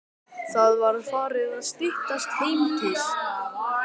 Það var farið að styttast heim til